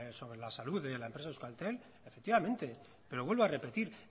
sobre la salud de la empresa euskaltel efectivamente pero vuelvo a repetir